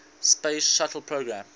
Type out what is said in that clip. space shuttle program